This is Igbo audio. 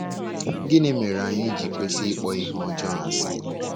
Gịnị mere anyị ji kwesị ịkpọ ihe ọjọọ asị?